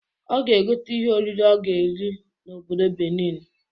Ọ ga egote ihe oriri ọ ga eri n'obodo Benin